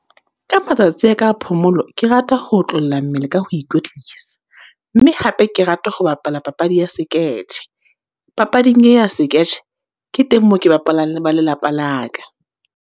Ka matsatsi a ka a phomolo, ke rata ho otlolla mmele ka ho ikwetlisa. Mme hape ke rata ho bapala papadi ya seketjhe, papading e ya seketjhe, ke teng moo ke bapalang le ba lelapa la ka.